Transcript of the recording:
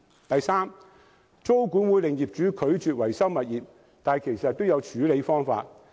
第三，租管或會令業主拒絕維修物業，但其實都有處理方法。